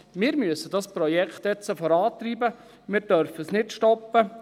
Wir müssen das Projekt jetzt vorantreiben, wir dürfen es nicht stoppen.